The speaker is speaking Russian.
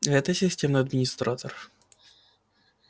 это системный администратор